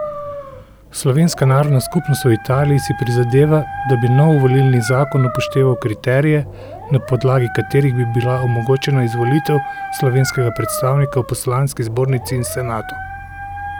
Slovenska narodna skupnost v Italiji si prizadeva, da bi nov volilni zakon upošteval kriterije, na podlagi katerih bi bila omogočena izvolitev slovenskega predstavnika v poslanski zbornici in senatu.